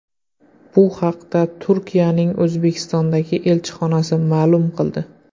Bu haqda Turkiyaning O‘zbekistondagi elchixonasi ma’lum qildi.